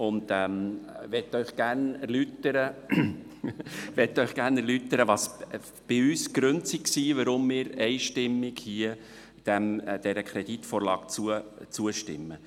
Ich möchte Ihnen gerne erläutern, welches unsere Gründe sind, weshalb wir dieser Kreditvorlage einstimmig zustimmen.